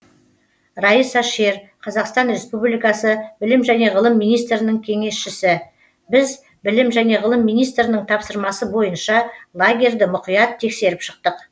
раиса шер қазақстан республикасы білім және ғылым министрінің кеңесшісі біз білім және ғылым министрінің тапсырмасы бойынша лагерьді мұқият тексеріп шықтық